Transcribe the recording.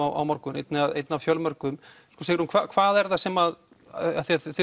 á morgun einn af einn af fjölmörgum Sigrún hvað er það sem þið